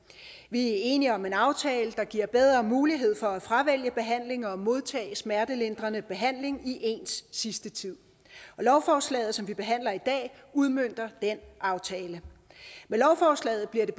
enige om en aftale der giver bedre mulighed for at fravælge behandling og modtage smertelindrende behandling i ens sidste tid og lovforslaget som vi behandler i dag udmønter den aftale med lovforslaget bliver det